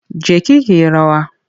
Je ki ki yi rawa!